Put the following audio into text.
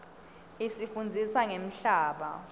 isifundzisa ngemhlaba